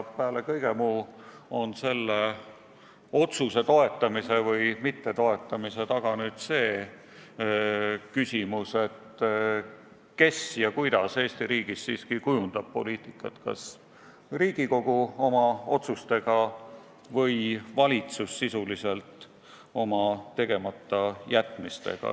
Peale kõige muu on selle otsuse toetamise või mittetoetamise taga küsimus, kes ja kuidas Eesti riigis siiski kujundab poliitikat: kas Riigikogu oma otsustega või valitsus sisuliselt oma tegematajätmistega.